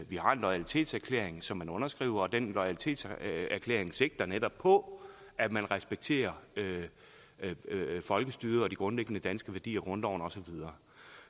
vi har en loyalitetserklæring som man underskriver og den loyalitetserklæring sigter netop på at man respekterer folkestyret og de grundlæggende danske værdier grundloven og så videre